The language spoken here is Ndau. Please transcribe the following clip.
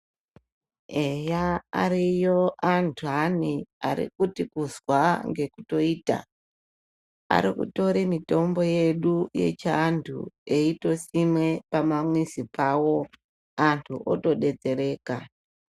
Eya ariyo andani arikuti kuzwa ngekutoita Ari kutora mitombo yedu yechiantu eitosima pamamizi pawo antu otodetsereka.